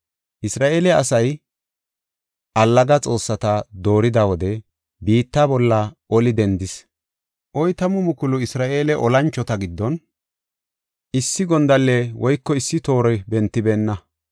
Isra7eele asay allaga xoossata doorida wode, biitta bolla oli dendis. Oytamu mukulu Isra7eele olanchota giddon, issi gondalley woyko issi toori bentibeenna.